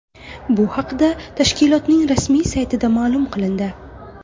Bu haqda tashkilotning rasmiy saytida ma’lum qilindi .